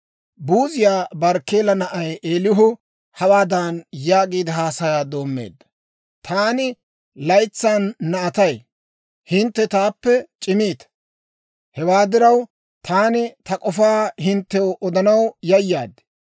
Buuziyaa Barkkeela na'ay Eelihu hawaadan yaagiide, haasayaa doommeedda; «Taani laytsan na'atay; hintte taappe c'imiita. Hewaa diraw, taani ta k'ofaa hinttew odanaw yayaad.